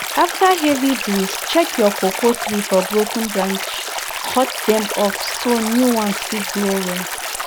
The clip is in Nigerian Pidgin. after heavy breeze check your cocoa tree for broken branch cut dem off so new one fit grow well